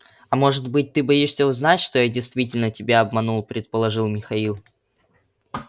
а может быть ты боишься узнать что я действительно тебя обманул предположил михаил